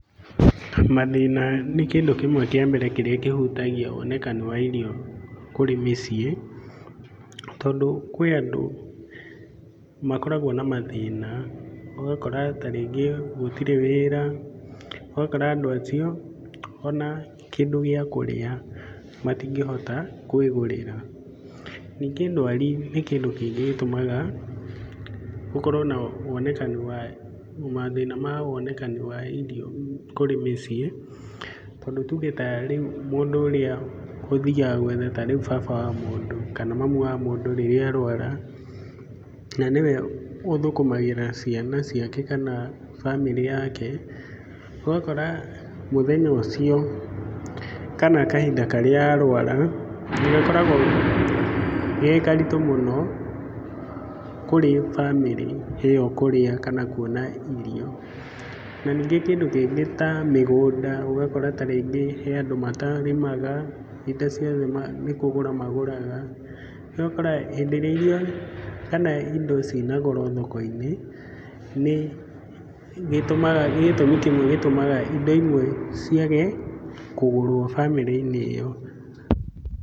Mathĩna nĩ kĩndũ kĩmwe kĩa mbere kĩrĩa kĩhutagia wonekani wa irio kũrĩ mĩciĩ. Tondũ kwĩ andũ makoragwo na mathĩna, ũgakora ta rĩngĩ gũtirĩ wĩra, ũgakora andũ acio ona kĩndũ gĩa kũrĩa matingĩhota kwĩgũrĩra. Ningĩ ndwari nĩ kĩndũ kĩngĩ gĩtũmaga gũkorwo na wonekani wa, mathĩna ma wonekani wa irio kũrĩ mĩciĩ. Tondũ tuge ta rĩu mũndũ ũrĩa ũthiaga gwetha ta rĩu baba wa mũndũ, kana mamu wa mũndũ rĩrĩa arũara, na nĩwe ũthũkũmagĩra bamĩrĩ yake kana ciana ciake, ũgakora mũthenya ũcio kana kahinda karĩa arũara nĩ gakoragwo ge karitũ mũno kũrĩ bamĩrĩ ĩyo kũrĩa kana kuona irio. Na ningĩ kĩndũ kĩngĩ ta mĩgũnda ũgakora ta rĩngĩ he andũ matarĩmaga, indo ciothe nĩ kũgũra magũraga. Rĩu ũgakora hĩndĩ ĩrĩa irio kana indo ciĩna goro thoko-inĩ, nĩ gĩtũmaga, nĩ gĩtũmi kĩmwe gĩtũmaga indo imwe ciage kũgũrwo bamĩrĩ-inĩ ĩyo.